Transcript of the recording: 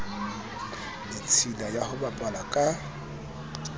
ditshila ya ho bapala ka